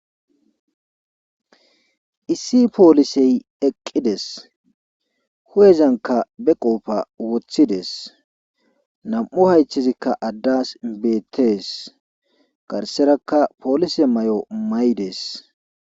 issi poolisey eqqides hu7ezanka be qoofa woththides nam7u haycthizikka addas beettes garserakka poolise may7o may dees